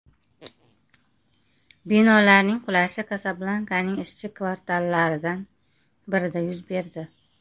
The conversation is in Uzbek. Binolarning qulashi Kasablankaning ishchi kvartallaridan birida yuz berdi.